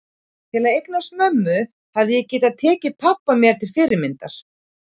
Til að eignast mömmu hefði ég getað tekið pabba mér til fyrirmyndar.